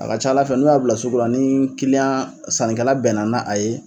A ka ca Ala fɛ n'u y'a bila sugula ni sannikɛla bɛnna na a ye.